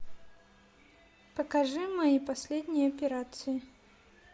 покажи мои последние операции